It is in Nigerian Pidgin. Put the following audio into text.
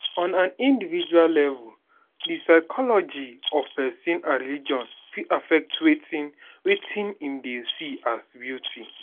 on an individual level di psychology of person and religion fit affect wetin wetin im dey see as beauty